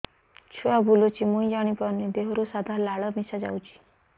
ଛୁଆ ବୁଲୁଚି ମୁଇ ଜାଣିପାରୁନି ଦେହରୁ ସାଧା ଲାଳ ମିଶା ଯାଉଚି